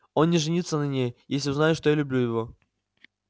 он не женится на ней если узнает что я люблю его